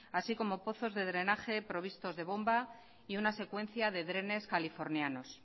así como pozos de drenaje provistos de bomba y una secuencia de drenes californianos